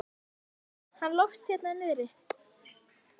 Sjáðu bara hann Loft hérna niðri.